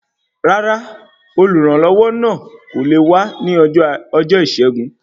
Rárá, oluranlowo náà kò lé wá ní ọjọ Isẹgun